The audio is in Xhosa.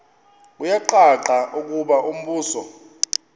kuyacaca ukuba umbuso